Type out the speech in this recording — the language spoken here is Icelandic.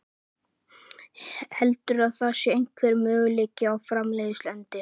Heldurðu að það sé einhver möguleiki á farsælum endi?